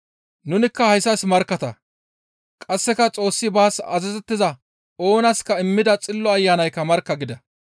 Nunikka hayssas markkatta; qasseka Xoossi baas azazettiza oonaska immida Xillo Ayanaykka markka» gida.